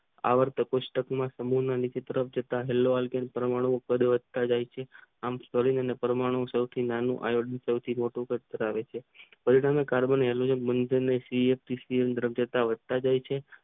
આવર્ત તટસ્થ પ્રક્રિયા સંવેદન હેલો આલકીય પરમાણુ કરતા જાય છે આમ પરમં સૌ થી નાનો આણ્વીય કાળ ધરાવે છે તેને કાર્બનિક સી એ દ્રવ્ય વધતા જાય છે